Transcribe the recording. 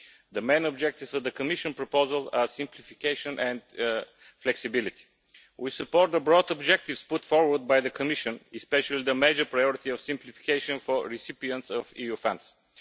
The main objectives of the Commission proposal are simplification and flexibility. We support the broad objectives put forward by the Commission, especially the major priority of simplification for recipients of EU funds.